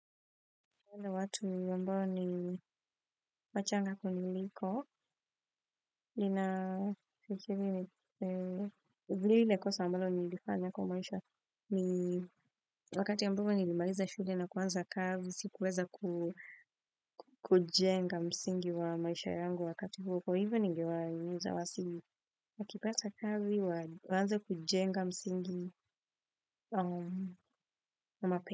Wanda watu ni ambao ni wachanga kuniliko, lina vili hile kosa mbalo ni ilifanya kwa maisha. Wakati ambapo ni limaliza shule na kuwanza kazi, sikuweza kujenga msingi wa maisha yangu wakati huo. Kwa hivyo ningewaimiza wasi wakipata kazi, wanze kujenga msingi wa mape.